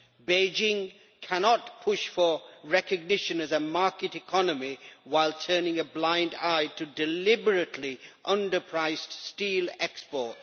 Beijing cannot push for recognition as a market economy while turning a blind eye to deliberately under priced steel exports.